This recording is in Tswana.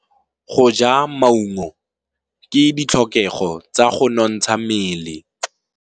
Go ja maungo ke ditlhokegô tsa go nontsha mmele.